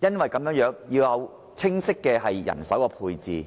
以及為達到目標而訂明清晰的人手配置？